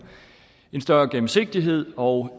en større gennemsigtighed og